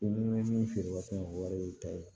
Minnu bɛ min feere waati in na o wari y'i ta ye